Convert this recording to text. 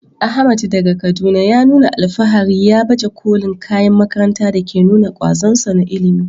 Ahmad, daga Kaduna, ya nuna alfahari ya baje kolin kayan makaranta da ke nuna kwazonsa na ilimi.